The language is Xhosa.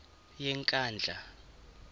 yenkandla